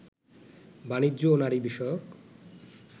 বাণিজ্য ও নারী বিষয়ক